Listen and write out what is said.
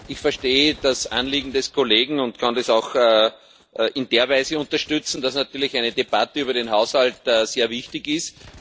Ich verstehe das Anliegen des Kollegen und kann es auch in der Weise unterstützen, dass natürlich eine Debatte über den Haushalt sehr wichtig ist.